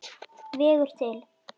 vegur til.